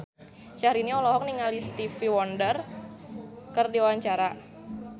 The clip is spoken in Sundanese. Syahrini olohok ningali Stevie Wonder keur diwawancara